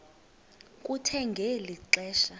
kuthe ngeli xesha